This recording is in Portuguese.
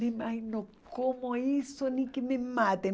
Nem imagino não como isso, nem que me matem.